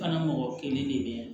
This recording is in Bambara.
Fana mɔgɔ kelen de bɛ yan